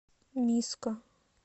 миско